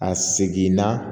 A segin na